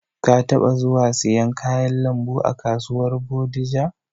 Ka taɓa zuwa siyan kayan lambu a kasuwar Bodija?